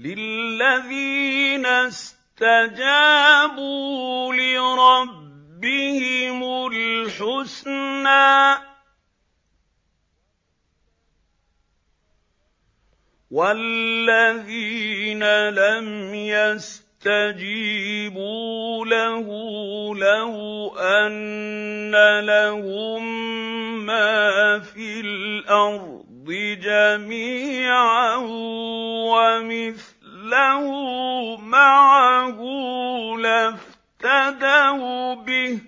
لِلَّذِينَ اسْتَجَابُوا لِرَبِّهِمُ الْحُسْنَىٰ ۚ وَالَّذِينَ لَمْ يَسْتَجِيبُوا لَهُ لَوْ أَنَّ لَهُم مَّا فِي الْأَرْضِ جَمِيعًا وَمِثْلَهُ مَعَهُ لَافْتَدَوْا بِهِ ۚ